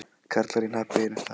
Karlar í hnapp á einum stað.